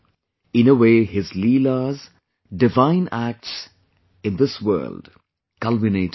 In a way his Leelas, divine acts in this world culminated there